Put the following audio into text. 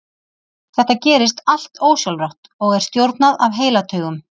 Þetta gerist allt ósjálfrátt og er stjórnað af heilataugum.